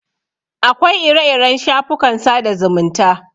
Akwai ire-iren shafukan sada zumunta.